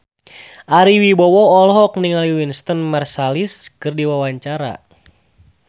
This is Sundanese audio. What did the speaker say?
Ari Wibowo olohok ningali Wynton Marsalis keur diwawancara